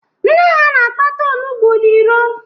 Nne ha na-akpata ọnugbọ n'ịro